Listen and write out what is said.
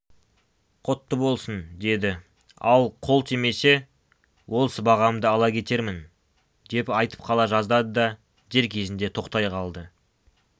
құтты болсын деді ал қол тимесе ол сыбағамды ала кетермін деп айтып қала жаздады да дер көзінде тоқтай қалды